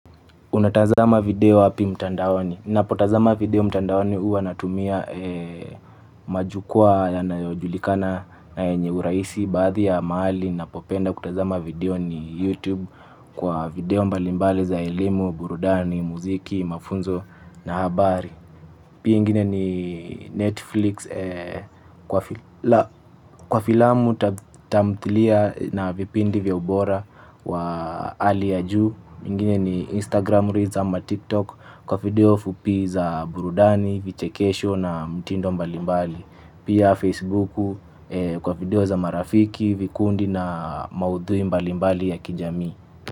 Unatazama video wapi mtandaoni? Ninapotazama video mtandaoni huwa natumia majukwa yanayojulikana na yenye urahisi baadhi ya mahali. Ninapopenda kutazama video ni YouTube kwa video mbalimbali za elimu, burudani, muziki, mafunzo na habari. Pia ingine ni Netflix kwa filamu tamthilia na vipindi vya ubora wa hali ya juu. Pinine ni Instagram reels ama TikTok kwa video fupi za burudani, vichekesho na mtindo mbalimbali. Pia Facebooku kwa video za marafiki, vikundi na maudhui mbalimbali ya kijami.